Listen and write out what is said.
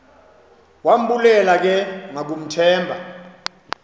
wambulela ke ngakumthemba